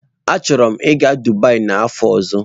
Achọrọ m ịga Dubai n'afọ ọzọ.